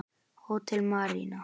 Hótel Marína.